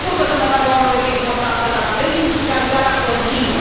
Sigur că sănătatea oamenilor este importantă, dar dezindustrializarea continuă.